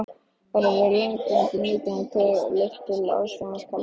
Þar hefur langvarandi nýting leitt til aðstreymis kalds vatns.